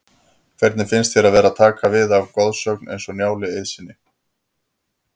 Hvernig finnst þér að vera að taka við af goðsögn eins og Njáli Eiðssyni?